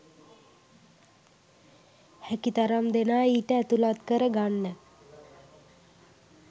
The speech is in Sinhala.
හැකිතරම් දෙනා ඊට ඇතුළත් කර ගන්න